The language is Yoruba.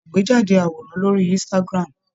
Ṣe àgbéjáde àwòrán lórí Instagram.